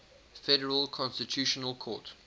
federal constitutional court